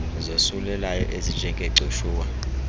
zosulelayo ezinje ngegcushuwa